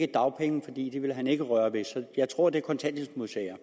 dagpengene ville han ikke røre ved så jeg tror det er kontanthjælpsmodtagere